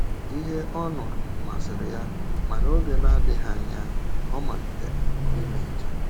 Ihe ọ nụrụ masịrị ya, ma n’oge na - adịghị anya, ọ malitere ime njem.